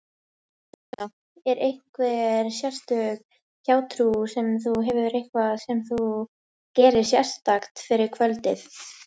Fréttakona: Er einhver sérstök hjátrú sem þú hefur, eitthvað sem þú gerir sérstakt fyrir kvöldið?